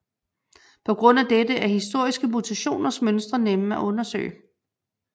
På grund af dette er historiske mutationers mønstre nemme at undersøge